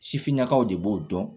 Sifinnakaw de b'o dɔn